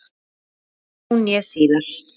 Hvorki nú né síðar.